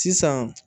Sisan